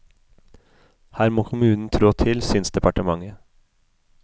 Her må kommunen trå til, synes departementet.